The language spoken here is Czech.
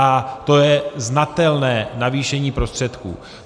A to je znatelné navýšení prostředků.